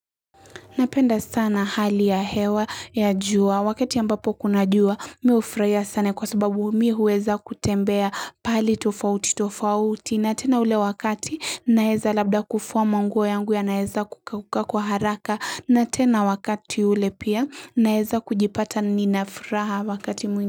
Napenda sana hali ya hewa ya jua. Wakati ambapo kuna jua, mi u furahia sana kwa sababu mi huweza kutembea pali tofauti tofauti. Na tena ule wakati, naeza labda kuvua manguo yangu yanaeza kukauka kwa haraka. Na tena wakati ule pia, naeza kujipata ninafuraha wakati mwini.